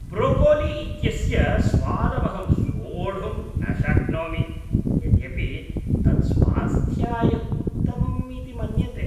Broccoli इत्यस्य स्वादमहं सोढुं न शक्नोमि, यद्यपि तत् स्वास्थ्याय उत्तमम् इति मन्यते।